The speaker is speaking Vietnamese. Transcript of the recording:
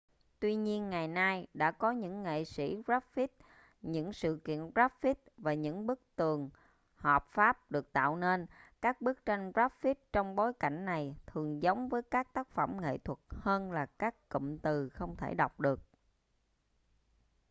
tuy nhiên ngày nay đã có những nghệ sĩ graffiti những sự kiện graffiti và những bức tường hợp pháp được tạo nên các bức tranh graffiti trong bối cảnh này thường giống với các tác phẩm nghệ thuật hơn là các cụm từ không thể đọc được